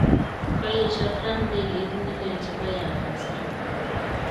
Koyesioo Trump ndegeit nelel chebo Air Force One.